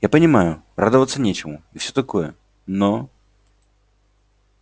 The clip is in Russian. я понимаю радоваться нечему и всё такое но